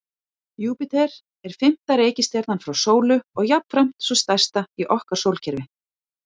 Júpíter er fimmta reikistjarnan frá sólu og jafnframt sú stærsta í okkar sólkerfi.